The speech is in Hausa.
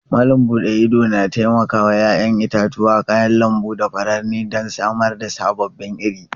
Malam bude idona taimakawa 'ya'yan itatuwa, kayan lambu da furanni don samar da sababbin iri.